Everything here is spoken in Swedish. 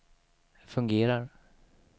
fungerar